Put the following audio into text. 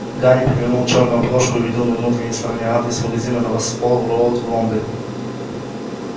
гарри перевернул чёрную обложку и увидел на внутренней стороне адрес магазина на воксхолл-роуд в лондоне